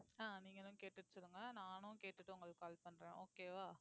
ஆஹ் நீங்களும் கேட்டுட்டு சொல்லுங்க நானும் கேட்டுட்டு உங்களுக்கு call பண்றேன் okay வா